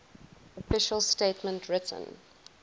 official statement written